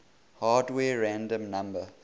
hardware random number